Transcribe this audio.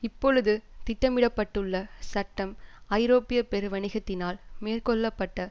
இப்பொழுது திட்டமிட பட்டுள்ள சட்டம் ஐரோப்பிய பெருவணிகத்தினால் மேற்கொள்ள பட்ட